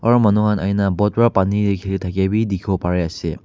Aro manu khan ahikena boat para pani te kheli thakhia bi dekhibo bari ase.